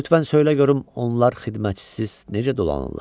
Lütfən söylə görüm onlar xidmətçisiz necə dolanırlar?